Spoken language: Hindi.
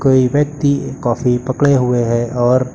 कोई व्यक्ति कॉफी पकड़े हुए हैं और--